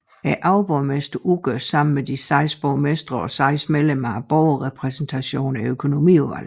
Overborgmesteren udgør sammen med de seks borgmestre og 6 medlemmer af Borgerrepræsentationen Økonomiudvalget